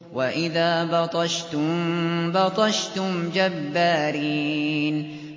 وَإِذَا بَطَشْتُم بَطَشْتُمْ جَبَّارِينَ